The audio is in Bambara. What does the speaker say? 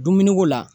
Dumuni ko la